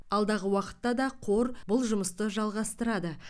алдағы уақытта да қор бұл жұмысты жалғастырады